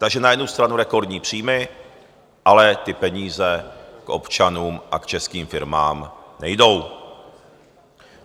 Takže na jednu stranu rekordní příjmy, ale ty peníze k občanům a k českým firmám nejdou.